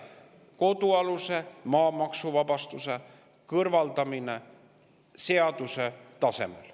kodualuse maa maksuvabastuse kõrvaldamine täies mahus seaduse tasemel.